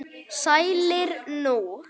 Sælir nú.